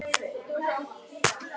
Kveðja, Laufey.